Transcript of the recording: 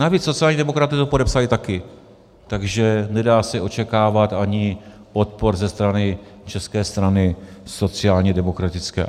Navíc sociální demokraté to podepsali taky, takže se nedá očekávat ani odpor ze strany České strany sociálně demokratické.